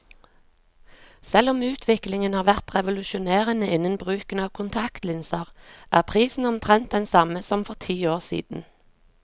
Selv om utviklingen har vært revolusjonerende innen bruken av kontaktlinser, er prisen omtrent den samme som for ti år siden.